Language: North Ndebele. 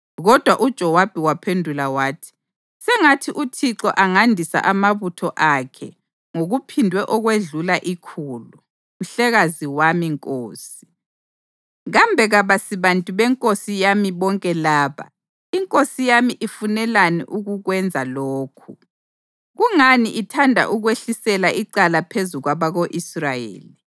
Kodwa uJowabi waphendula wathi, “Sengathi uThixo angandisa amabutho akhe ngokuphindwe okwedlula ikhulu. Mhlekazi wami nkosi, kambe kabasibantu benkosi yami bonke laba? Inkosi yami ifunelani ukukwenza lokhu? Kungani ithanda ukwehlisela icala phezu kwabako-Israyeli?”